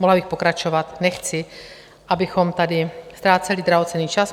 Mohla bych pokračovat, nechci, abychom tady ztráceli drahocenný čas.